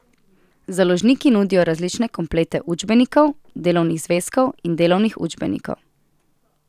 Založniki nudijo različne komplete učbenikov, delovnih zvezkov in delovnih učbenikov.